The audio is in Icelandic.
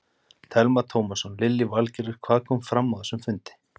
Telma Tómasson: Lillý Valgerður, hvað kom fram á þessum fundi?